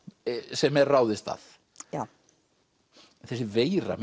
sem er ráðist að já þessi veira